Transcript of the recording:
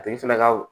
A tigi fɛnɛ ka